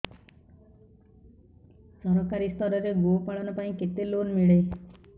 ସରକାରୀ ସ୍ତରରେ ଗୋ ପାଳନ ପାଇଁ କେତେ ଲୋନ୍ ମିଳେ